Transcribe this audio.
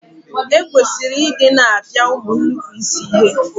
E kwesịrị I di na-apia ụmụ nnupuisi ihe.